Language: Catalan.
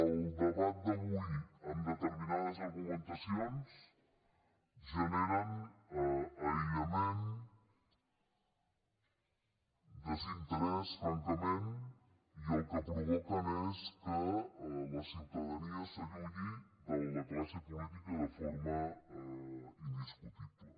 el debat d’avui amb determinades argumentacions genera aïllament desinterès francament i el que provoca és que la ciutadania s’allunyi de la classe política de forma indiscutible